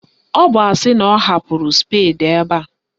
Ọ bụ asị na ọ hapụrụ spedi ebe a